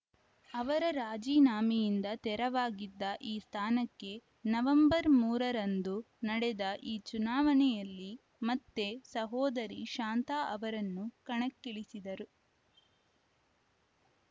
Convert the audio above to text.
ಅವರ ರಾಜಿನಾಮೆಯಿಂದ ತೆರವಾಗಿದ್ದ ಈ ಸ್ಥಾನಕ್ಕೆ ನವೆಂಬರ್ ಮೂರ ರಂದು ನಡೆದ ಈ ಚುನಾವಣೆಯಲ್ಲಿ ಮತ್ತೆ ಸಹೋದರಿ ಶಾಂತಾ ಅವರನ್ನು ಕಣಕ್ಕಿಳಿಸಿದ್ದರು